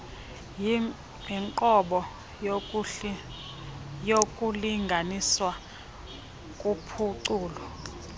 yinqobo yokulinganiswa kuphuculo